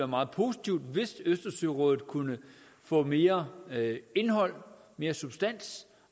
meget positivt hvis østersørådet kunne få mere indhold mere substans